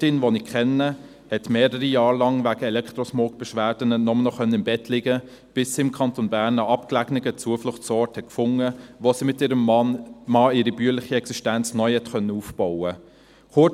Eine Landwirtin, die ich kenne, konnte wegen Elektrosmog-Beschwerden mehrere Jahre nur noch im Bett liegen, bis sie im Kanton Bern einen abgelegenen Zufluchtsort fand, wo sie mit ihrem Mann ihre bäuerliche Existenz neu aufbauen konnte.